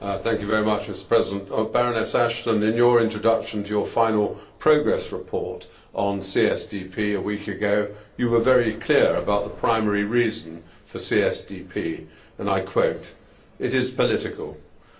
Mr President, I would like to address Baroness Ashton. In your introduction to your final progress report on CSDP a week ago, you were very clear about the primary reason for CSDP, and I quote it is political